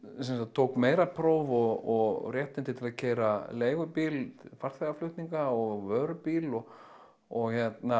tók meirapróf og réttindi til að keyra leigubíl til farþegaflutninga og vörubíl og og